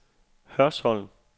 Hørsholm